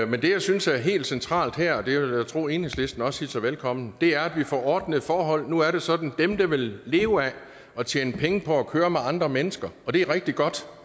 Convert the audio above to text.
men det jeg synes er helt centralt her og det vil jeg tro at enhedslisten også hilser velkommen er at vi får ordnede forhold nu er det sådan dem der vil leve af at tjene penge på at køre med andre mennesker og det er rigtig godt